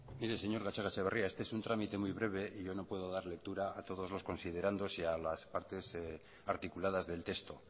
mire señor gatxagaetxebarria este es un trámite muy breve y yo no puedo dar lectura a todos los considerandos y a las partes articuladas del texto